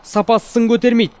сапасы сын көтермейді